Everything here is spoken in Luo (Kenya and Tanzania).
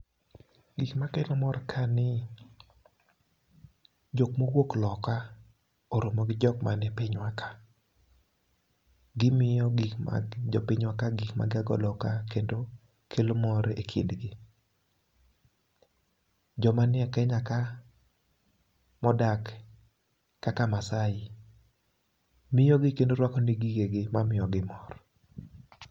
Gik makelo mor ka ni jok mowuok loka oromo gi jok man e piny wa ka. Gimiyo gik jo piny wa ka gik ma gia go loka kendo kelo mor e kindgi. joma ni e Kenya ka modak kaka Masaai miyo gi kendo rwako ne gi gigegi mamiyo gi mor.